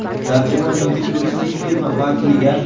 tarjimon yoki turistik firma vakiliga;.